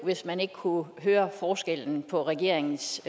hvis man ikke kunne høre forskellen på regeringens